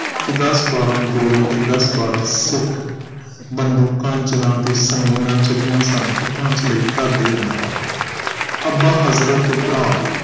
ਕਿ ਦਸ ਬਾਰਾਹ ਗੋਰੇ ਤੇ ਦਸ ਬਾਰਾਹ ਸਿੱਖ ਬੰਦੂਕਾਂ ਜਿਨ੍ਹਾਂ ਤੇ ਸੰਗੀਨਾਂ ਚੜ੍ਹਿਆ ਸਨ ਹੱਥਾਂ ਚ ਲਈ ਘਰ ਦੇ ਅੰਦਰ ਆ ਗਏ ਅੱਬਾ ਹਜ਼ਰਤ ਤੇ ਭਰਾ